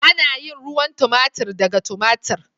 Ana yin ruwan tomatir daga tomatir.